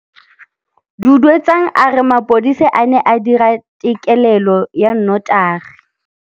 Duduetsang a re mapodisa a ne a dira têkêlêlô ya nnotagi.